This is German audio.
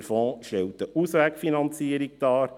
Der Fonds stellt eine Auswegfinanzierung dar.